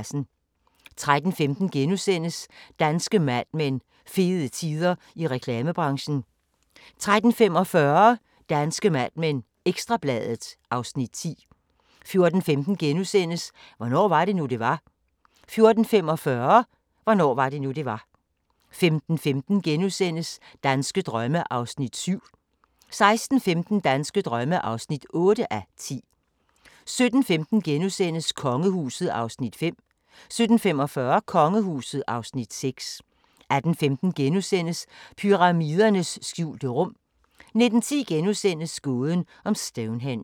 13:15: Danske Mad Men: Fede tider i reklamebranchen * 13:45: Danske Mad Men: Ekstra Bladet (Afs. 10) 14:15: Hvornår var det nu, det var? * 14:45: Hvornår var det nu, det var? 15:15: Danske drømme (7:10)* 16:15: Danske drømme (8:10) 17:15: Kongehuset (Afs. 5)* 17:45: Kongehuset (Afs. 6) 18:15: Pyramidernes skjulte rum * 19:10: Gåden om Stonehenge *